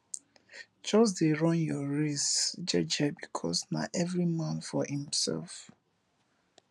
jus dey run yur race jeje bikos na evri man for himself